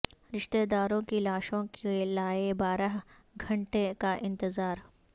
رشتہ داروں کی لاشوں کے لایے بارہ گھنٹے کا انتظار